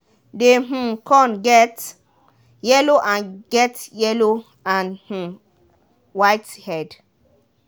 dey um corn get yellow and get yellow and um white head.